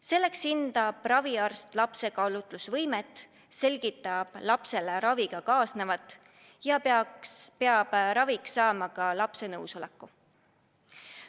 Selleks hindab raviarst lapse kaalutlusvõimet, selgitab lapsele raviga kaasnevat ja peab raviks saama ka lapse nõusoleku.